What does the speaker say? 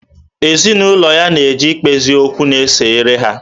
Ezinụlọ ya na-eje ikpezi okwu na-esere ha